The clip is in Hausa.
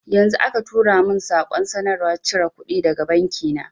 Yanzu aka turo min saƙon sanarwar cire kuɗi daga banki na